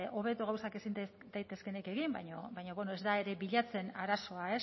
hobeto gauzak ezin daitezkeenik egin baina bueno ez da ere bilatzen arazoa